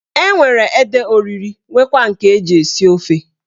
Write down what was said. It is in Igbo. Enwere ede oriri nwekwara nke eji esi ofe.